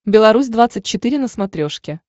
беларусь двадцать четыре на смотрешке